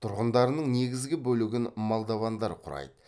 тұрғындарының негізгі бөлігін молдовандар құрайды